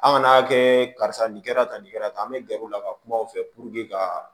An ka n'a kɛ karisa nin kɛra tan nin kɛra tan an bɛ gɛr'u la ka kuma u fɛ ka